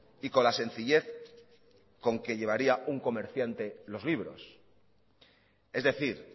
y con la sencillez con que llevaría un comerciante los libros es decir